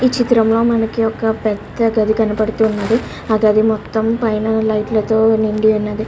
ఈ చిత్రంలో మనకి ఒక పెద్ద గది కనపడుతున్నది ఆ గది మొత్తం పైన లైట్ల తో నిండి ఉన్నది.